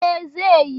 E, zai yi.